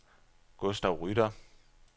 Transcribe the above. Gustav Rytter